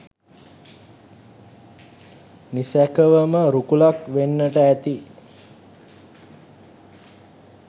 නිසැකවම රුකුලක් වෙන්නට ඇති.